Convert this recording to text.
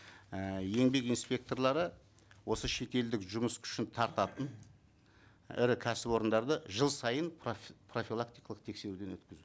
ііі еңбек инспекторлары осы шетелдік жұмыс күшін тартатын ірі кәсіпорындарды жыл сайын профилактикалық тексеруден өткізу